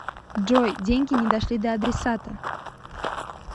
джой деньги не дошли до адресата